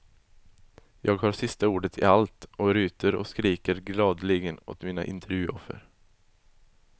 Jag har sista ordet i allt och ryter och skriker gladeligen åt mina intervjuoffer.